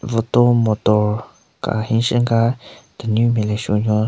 Vuto motor ka henshen ka tenunyu nme le shunyo.